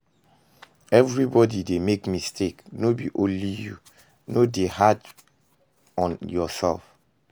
Everybody dey make mistake, no be only you, no de dey hard on yourself